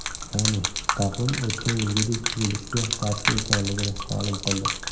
Ya’ni, taqvim o‘tgan yilgidek tuzilishiga qarshi ekanligini ma’lum qildi.